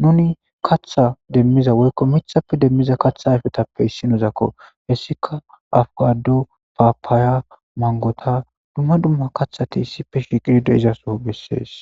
nuni katha demmiza woykko mithappe demmiza katha ayfetappe issinozakko hessika afikado papaya mangota dumma dumma kathati issipe shiqidi de7izaso bessees